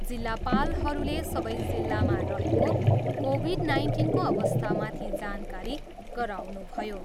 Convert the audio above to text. जिल्लापालहरूले सबै जिल्लामा रहेको कोभिड नाइन्टिनको अवस्थामाथि जानकारी गराउनुभयो।